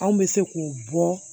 Anw bɛ se k'o bɔ